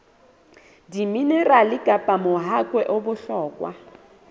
diminerale kapa mahakwe a bohlokwa